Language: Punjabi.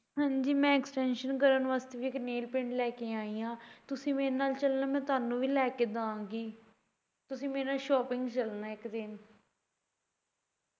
ਹਾਂਜੀ ਮੈਂ ਇੱਕ extension ਕਰਨ ਵਾਸਤੇ ਵੀ ਇੱਕ nail paint ਲੈ ਕੇ ਆਈ ਆ ਤੁਸੀਂ ਮੇਰੇ ਨਾਲ ਚੱਲਨਾ ਮੈਂ ਤੁਹਾਨੂੰ ਵੀ ਲੈ ਕੇ ਦਵਾਂਗੀ ਤੁਸੀ ਮੇਰੇ ਨਾਲ shopping ਚੱਲਨਾ ਇੱਕ ਦਿਨ